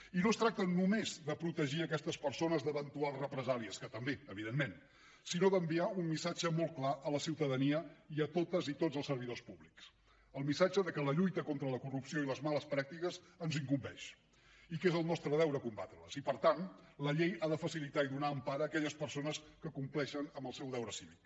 i no es tracta només de protegir aquestes persones d’eventuals represàlies que també evidentment sinó d’enviar un missatge molt clar a la ciutadania i a totes i tots els servidors públics el missatge de que la lluita contra la corrupció i les males pràctiques ens incumbeix i que és el nostre deure combatre les i per tant la llei ha de facilitar i donar empara aquelles persones que compleixen amb el seu deure cívic